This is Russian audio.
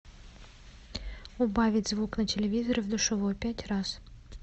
убавить звук на телевизоре в душевой пять раз